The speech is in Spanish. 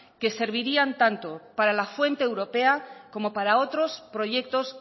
que servirían tanto para la fuente europea como para otros proyectos